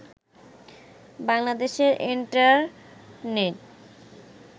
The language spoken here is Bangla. বাংলাদেশের ইন্টারনেট